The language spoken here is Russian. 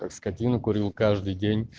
как скотина курю каждый день